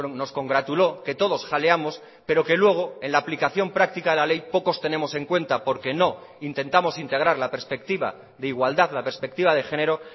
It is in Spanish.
nos congratuló que todos jaleamos pero que luego en la aplicación práctica de la ley pocos tenemos en cuenta porque no intentamos integrar la perspectiva de igualdad la perspectiva de género